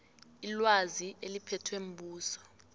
ilwazi eliphethwe mbuso